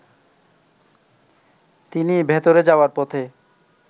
তিনি ভেতরে যাওয়ার পথে